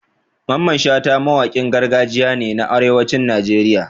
Mamman Shata mawakin gargajiya ne a arewacin Najeriya